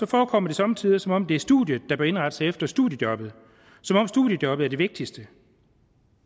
forekommer det somme tider som om det er studiet der bør indrette sig efter studiejobbet som om studiejobbet er det vigtigste